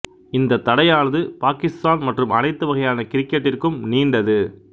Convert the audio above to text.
இந்த தடையானது பாகிஸ்தான் மற்றும் அனைத்து வகையான கிரிக்கெட்டிற்கும் நீண்டது